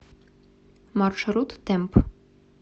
маршрут темп